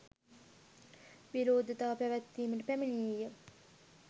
විරෝධතා පැවැත්වීමට පැමිණියේ